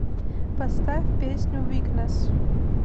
поставь песню викнесс